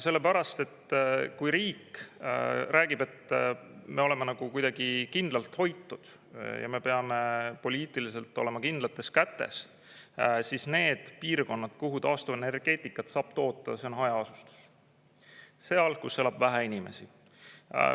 Sellepärast et kui riik räägib, et me oleme nagu kuidagi kindlalt hoitud ja me peame poliitiliselt olema kindlates kätes, siis need piirkonnad, kuhu taastuvenergeetikat saab toota, see on hajaasustus: seal, kus elab vähe inimesi.